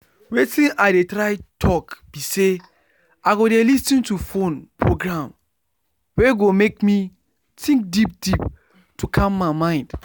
watin i dey try talk be say i go dey lis ten to phone program wey go make me think deep deep to calm my mind.